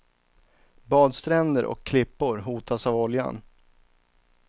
Badstränder och klippor hotas av oljan.